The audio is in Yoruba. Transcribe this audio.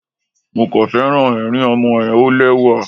Mo kàn féràn ẹ̀rín ọmọ ẹ, ó lẹ́wà.